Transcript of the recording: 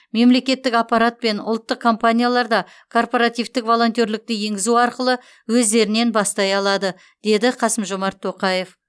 мемлекеттік аппарат пен ұлттық компаниялар да корпоративтік волонтерлікті енгізу арқылы өздерінен бастай алады деді қасым жомарт тоқаев